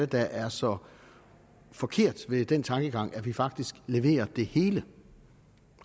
der er så forkert ved den tankegang at vi faktisk leverer det hele